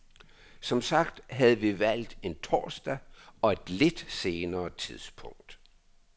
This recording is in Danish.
Som sagt havde vi valgt en torsdag og et lidt senere tidspunkt.